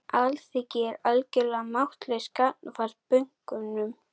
Alþingi er algjörlega máttlaust gagnvart bönkunum